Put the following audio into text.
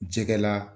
Jɛgɛla